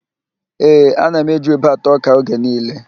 Ee, ana m eji ube ata ọ́kà oge niile.